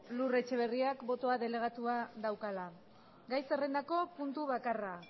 lur etxeberriak botoa delegatua daukala gai zerrendako puntu bakarra